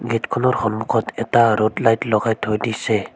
Gate খনৰ সন্মুখত এটা ৰোড লাইট লগাই থৈ দিছে।